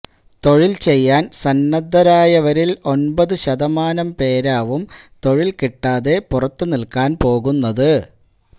തൊഴില് ചെയ്യാന് സന്നദ്ധരായവരില് ഒന്പതു ശതമാനം പേരാവും തൊഴില് കിട്ടാതെ പുറത്തുനില്ക്കാന് പോകുന്നത്